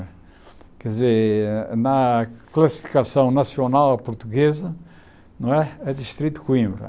Quer dizer, na classificação nacional portuguesa, não é é distrito de Coimbra.